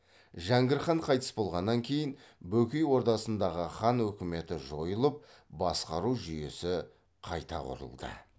жәңгір хан қайтыс болғаннан кейін бөкей ордасындағы хан өкіметі жойылып басқару жүйесі қайта құрылды